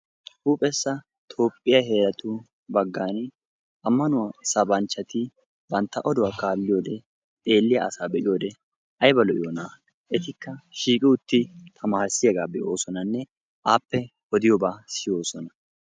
huuphessa toophiya heeratu baggaan ammanuwa sabbanchchati bantta oduwaa kaaliyoode, xeeliya asaa be'iyoode ayba lo''iyoona! etikka shiiqi utti tamaarissiyaaga be'oosonanne appe odiyooba siyyoosona.